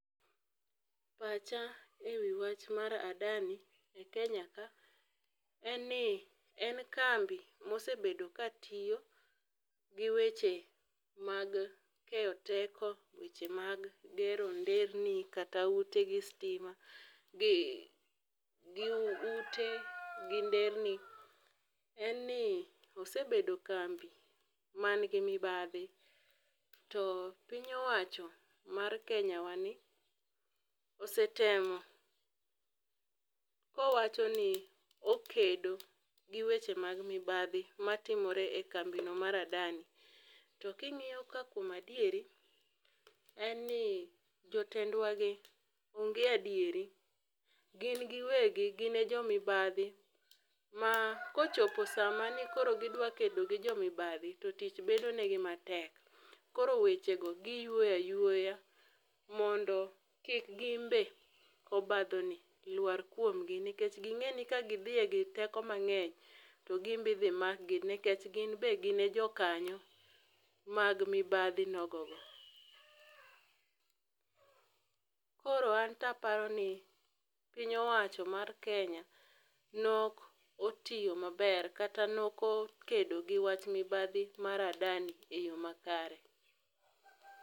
Pacha e wi wach mar Adani e Kenya ka en ni, en kambi mosebedo katiyo gi weche mag keyo teko, e weche mag gero nderni, kata ute gi stima gi ute gi nderni en ni osebedo kambi mangi mibadhi to piny owacho mar Kenyawani osetemo kowacho ni okedo gi weche mag mibadhi matimore e kambino mar Adani, to king'iyo ka kuom adieri en ni jotendwagi onge adieri. Gin giwegi gin e jo mibadhi ma kochopo sama ni koro gidwakedo gi jomibadhi to tich bedonigi matek, koro wechego giywoyo aywoya mondo kik gimbe obadhoni lwar kuomgi nikech ging'e ni kagidhi e gi teko mang'eny to gimbe idhi makgi nikech ginbe gin e jokanyo mag mibadhi nogogo. Koro anto aparo ni piny owacho mar Kenya nokotiyo maber kata nokokedo gi wach mibadhi mar Adani e yo makare.